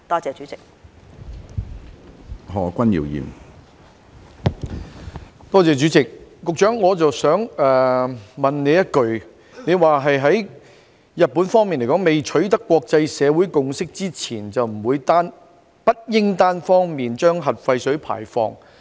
主席，我想問局長，她剛才表示，在國際社會未有共識前，日本當局不應單方面排放核廢水。